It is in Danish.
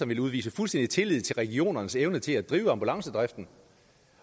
vil udvise fuldstændig tillid til regionernes evne til at drive ambulancedriften